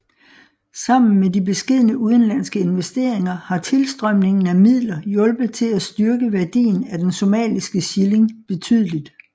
Sammen med de beskedne udenlandske investeringer har tilstrømningen af midler hjulpet til at styrke værdien af den somaliske shilling betydeligt